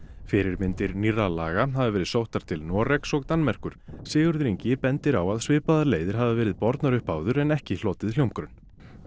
fyrirmyndir nýrra laga hafa verið sóttar til Noregs og Danmerkur Sigurður Ingi bendir á að svipaðar leiðir hafi verið bornar upp áður en ekki hlotið hljómgrunn